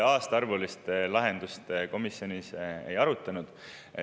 Aastaarvulist lahendust komisjonis ei arutatud.